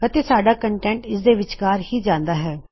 ਅਤੇ ਸਾਡਾ ਕੌਨਟੈੱਨਟ ਇਸਦੇ ਵਿਚਕਾਰ ਹੀ ਜਾਂਦਾ ਹੈ